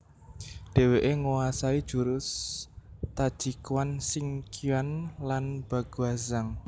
Dheweke nguasai jurus Taijiquan Xingyiquan lan Baguazhang